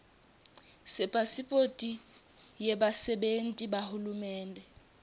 sepasiphothi yebasebenti bahulumende